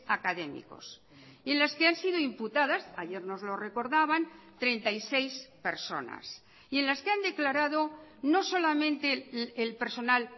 académicos en las que han sido imputadas ayer nos lo recordaban treinta y seis personas y en las que han declarado no solamente el personal